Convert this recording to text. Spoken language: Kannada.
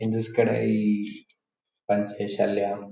ಇನ್ ದಿಸ್ ಕಡೆ ಪಂಚೆ ಶಲ್ಯ--